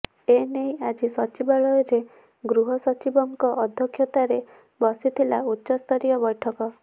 ଏ ନେଇ ଆଜି ସଚିବାଳୟରେ ଗୃହ ସଚିବଙ୍କ ଅଧ୍ୟକ୍ଷତାରେ ବସିଥିଲା ଉଚ୍ଚସ୍ତରୀୟ ବୈଠକ